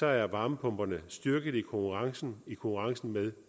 er varmepumperne styrket i konkurrencen i konkurrencen med